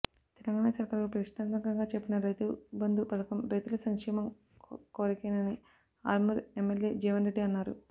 తెలంగాణా సర్కారు ప్రతిష్టాత్మకంగా చేపట్టిన రైతుబంధు పథకం రైతుల సంక్షేమం కొరకేనని ఆర్మూర్ ఎమ్మెల్యే జీవన్రెడ్డి అన్నారు